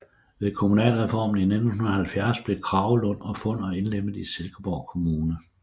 Ved kommunalreformen i 1970 blev Kragelund og Funder indlemmet i Silkeborg Kommune